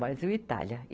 Brasil e Itália.